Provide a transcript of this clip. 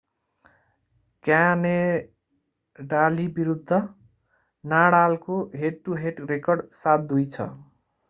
क्यानाडाली विरुद्ध नाडालको head to head record 7-2 छ